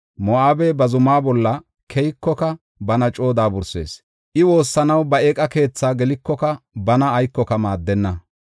Moo7abey ba zumaa bolla keykoka, bana coo daabursees; I woossanaw ba eeqa keethi gelikoka bana aykoka maaddenna.